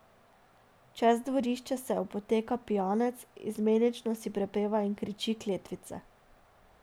Čez dvorišče se opoteka pijanec, izmenično si prepeva in kriči kletvice.